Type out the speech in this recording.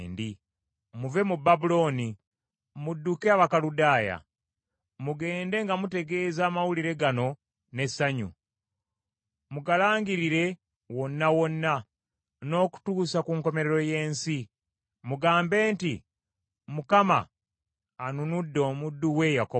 Muve mu Babulooni, mudduke Abakaludaaya. Mugende nga mutegeeza amawulire gano n’essanyu. Mugalangirire wonna wonna n’okutuusa ku nkomerero y’ensi. Mugambe nti, “ Mukama anunudde omuddu we Yakobo!”